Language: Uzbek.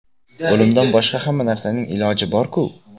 O‘limdan boshqa hamma narsaning iloji bor-ku.